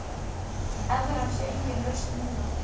Evran sé engin lausn nú.